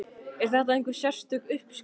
Er þetta einhver sérstök uppskrift?